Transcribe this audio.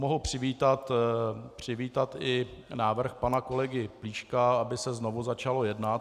Mohu přivítat i návrh pana kolegy Plíška, aby se znovu začalo jednat.